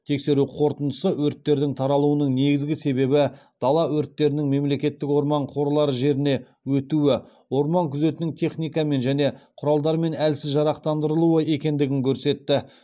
тексеру қорытындысы өрттердің таралуының негізгі себебі дала өрттерінің мемлекеттік орман қорлары жеріне өтуі орман күзетінің техникамен және құралдармен әлсіз жарақтандырылуы екендігін көрсетті